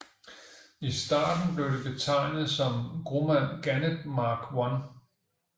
I starten blev de betegnet som Grumman Gannet Mark I